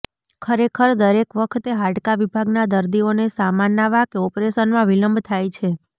ખરેખર દરેક વખતે હાડકાં વિભાગના દર્દીઓને સામાનના વાકે ઓપરેશનમાં વિલંબ થાય છે